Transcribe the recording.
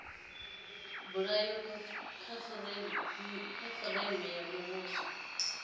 bulwaho kha fureimiweke ya muvhuso